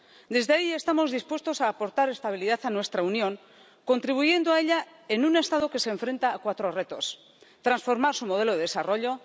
Desde ahí estamos dispuestos a aportar estabilidad a nuestra Unión, contribuyendo a ella en un Estado que se enfrenta a cuatro retos transformar su modelo de desarrollo